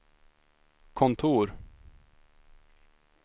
kontor